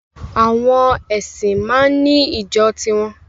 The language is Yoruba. Àwọn ẹ̀sìn máa ń ní ìjọ tiwọn